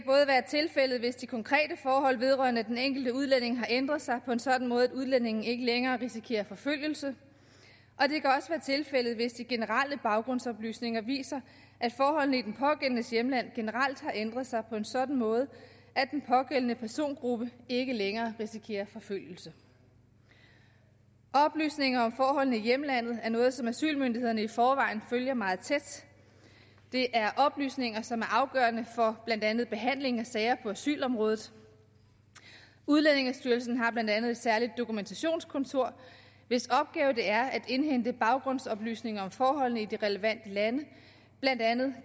tilfældet hvis de konkrete forhold vedrørende den enkelte udlænding har ændret sig på en sådan måde at udlændingen ikke længere risikerer forfølgelse og tilfældet hvis de generelle baggrundsoplysninger viser at forholdene i den pågældendes hjemland generelt har ændret sig på en sådan måde at den pågældende persongruppe ikke længere risikerer forfølgelse oplysninger om forholdene i hjemlandet er noget som asylmyndighederne i forvejen følger meget tæt det er oplysninger som er afgørende for blandt andet behandlingen af sager på asylområdet udlændingestyrelsen har blandt andet et særligt dokumentationskontor hvis opgave det er at indhente baggrundsoplysninger om forholdene i de relevante lande blandt andet